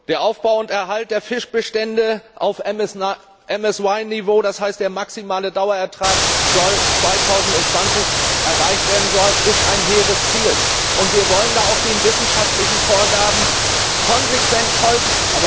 Der Aufbau und Erhalt der Fischbestände auf MSY Niveau das heißt, der maximale Dauerertrag soll 2020 erreicht werden ist ein hehres Ziel, und wir wollen da auch den wissenschaftlichen Vorgaben konsequent folgen.